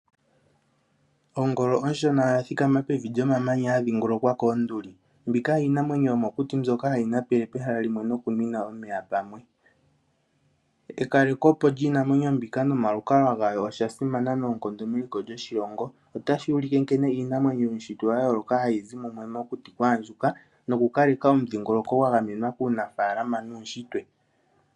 Ongolo onshona oya thikama pevi lyomamanya ya dhingolokwa koonduli. Mbika iinamwenyo yomokuti mbyoka hayi napele pamwe nokunwina omeya pamwe. Ekalekopo lyiinamwenyo mbika nomalukalwa gayo osha simana noonkondo meliko lyoshilongo. Otashi ulike nkene iinamwenyo yuunshitwe wa yooloka hayi zi mumwe mokuti kwa andjuka nokukaleka omudhingoloko gwa gamenwa kuunafaalama nuunshitwe.